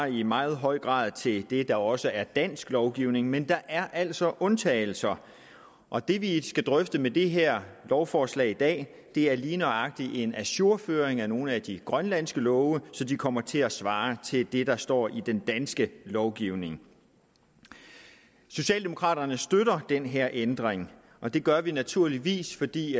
i meget høj grad svarer til det der også er dansk lovgivning men der er altså undtagelser og det vi skal drøfte med det her lovforslag i dag er lige nøjagtig en ajourføring af nogle af de grønlandske love så de kommer til at svare til det der står i den danske lovgivning socialdemokraterne støtter den her ændring og det gør vi naturligvis fordi